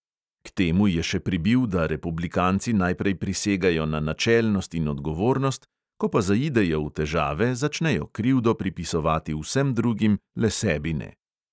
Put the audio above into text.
K temu je še pribil, da republikanci najprej prisegajo na načelnost in odgovornost, ko pa zaidejo v težave, začnejo krivdo pripisovati vsem drugim, le sebi ne.